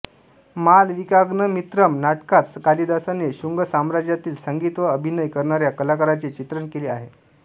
मालविकाग्नमित्रम् नाटकात कालिदासाने शुंग साम्राज्यातील संगीत व अभिनय करणाऱ्या कलाकारांचे चित्रण केले आहे